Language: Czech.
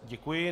Děkuji.